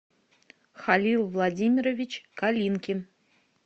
халил владимирович калинкин